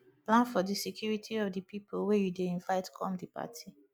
plan for di security of di pipo wey you dey invite come di party